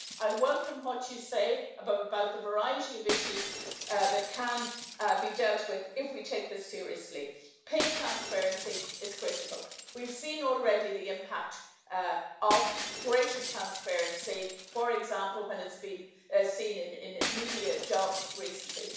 I welcome what you say about the variety of issues that can be dealt with if we take this seriously. Pay transparency is critical. We've seen already the impact of greater transparency, for example, when it has been seen in media jobs recently.